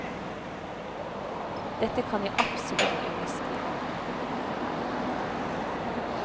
Dette kan jeg absolutt underskrive på.